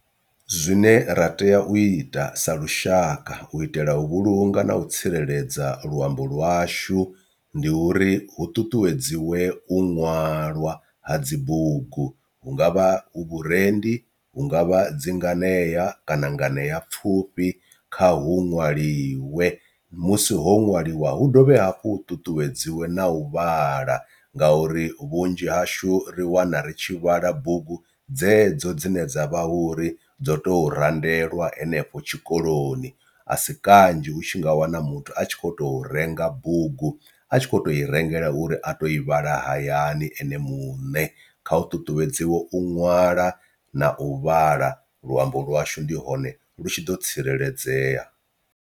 Zwine ra tea u ita sa lushaka u itela u vhulunga na u tsireledza luambo lwashu ndi uri hu ṱuṱuwedziwe u ṅwalwa ha dzi bugu hungavha hu vhurendi, hu ngavha dzi nganea kana nganeapfhufhi kha hu ṅwaliwe. Musi ho ṅwaliwa hu dovhe hafhu ṱuṱuwedziwe na u vhala ngauri vhunzhi hashu ri wana ri tshi vhala bugu dzedzo dzine dzavha hone ri dzo to randelwa henefho tshikoloni, a si kanzhi u tshi nga wana muthu a tshi kho to renga bugu a tshi kho to i rengela uri a to i vhala hayani ene muṋe. Kha u ṱuṱuwedziwa u ṅwala na u vhala luambo lwashu ndi hone lu tshi ḓo tsireledzea.